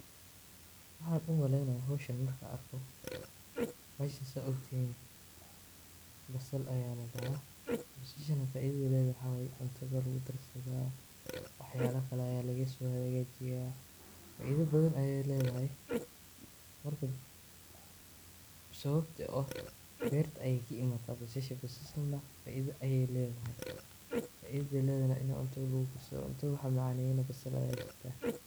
Waxaan umaleeynaaya hooshan markaan arko, bahashan sidhaad ogtihiin basal ayaa ladahaa, basashana faidada aay ledahay waxaa waye cuntada ayaa lagu darsadaa, waxyaaba kale ayaa laga soo hagaajiyaa, faida badan ayeey ledahay, marka, sababta beerta ayeey kaimaata basasha, basahana faida ayeey ledahay, faidada aay ledahay na cuntada waxaa macaaneeyo neh basasha waye.